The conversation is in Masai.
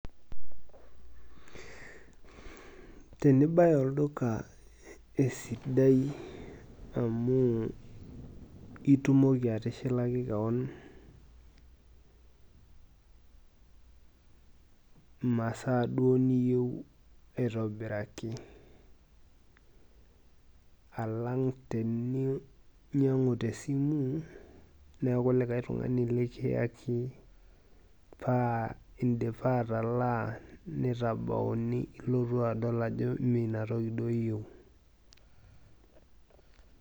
Tenibaya olduka esidai amuu itumoki atishilaki keon masaa duo niyeu aitobiraki alang teninyang'u te simuu naaku likai tungani likiyaki paa intipa atalaa neitabauni ilotu adol ajo mee inatoki duo iyeu.